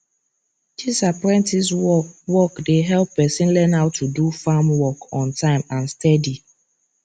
this apprentice work work dey help person learn how to do farm work on time and steady